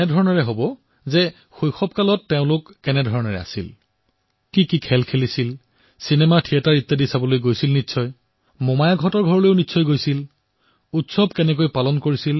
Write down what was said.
তেওঁলোকক সোধক যে শৈশৱত তেওঁলোকে কি খেল খেলিছিল কেনেদৰে সময় অতিবাহিত কৰিছিল বন্ধৰ সময়ত কি কৰিছিল উৎসৱসমূহ কিদৰে পালন কৰিছিল